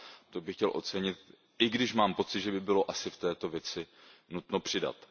To bych chtěl ocenit, i když mám pocit, že by bylo asi v této věci nutno přidat.